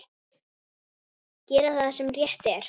Gera það sem rétt er.